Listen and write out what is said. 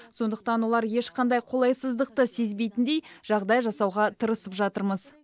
сондықтан олар ешқандай қолайсыздықты сезбейтіндей жағдай жасауға тырысып жатырмыз